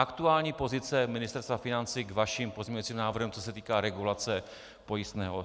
Aktuální pozice Ministerstva financí k vašim pozměňovacím návrhům, co se týká regulace pojistného.